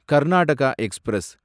Karnataka express